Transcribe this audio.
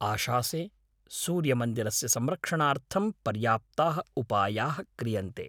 आशासे सूर्यमन्दिरस्य संरक्षणार्थं पर्याप्ताः उपायाः क्रियन्ते।